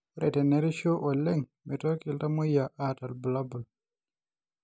Ore tenerishu oleng meitoki iltamoyia aata irbulabol